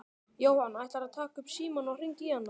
Jóhann: Ætlarðu að taka upp símann og hringja í hana?